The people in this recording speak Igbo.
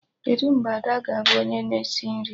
Kedụ mgbe Ada ga-abụ onye na esi nri?